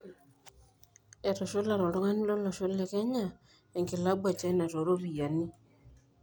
Etushulare oltungani lolosho le kenya enkilabu e china toropiani